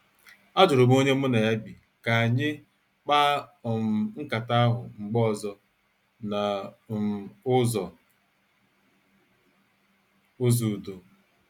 Ajurum onye mụ na ya bi ka anyị mkpa um nkata ahụ mgbe ọzọ n' um ụzọ ụzọ udo.